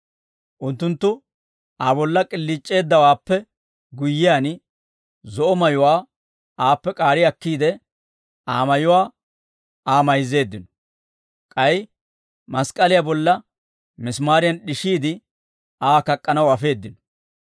Unttunttu Aa bolla k'iliic'eeddawaappe guyyiyaan, zo'o mayuwaa aappe k'aari akkiide, Aa mayuwaa Aa mayzzeeddino; k'ay mask'k'aliyaa bolla misimaariyan d'ishiide Aa kak'k'anaw afeeddino.